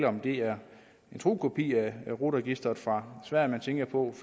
om det er en tro kopi af rut registeret fra sverige man tænker på